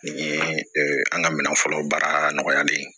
Nin ye an ka minɛn fɔlɔ baara nɔgɔyalen ye